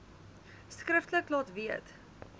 skriftelik laat weet